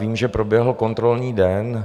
Vím, že proběhl kontrolní den.